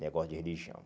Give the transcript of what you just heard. Negócio de religião.